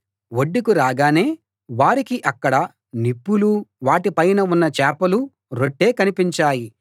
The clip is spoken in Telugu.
ఒడ్డుకి రాగానే వారికి అక్కడ నిప్పులూ వాటి పైన ఉన్న చేపలూ రొట్టే కనిపించాయి